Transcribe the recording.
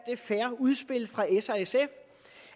fair udspil fra s og sf